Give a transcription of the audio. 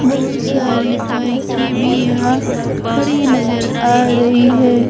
बहुत सारी बाईके भी यहां खड़ी नजर आ रही है।